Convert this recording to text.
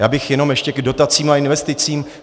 Já bych jenom ještě k dotacím a investicím.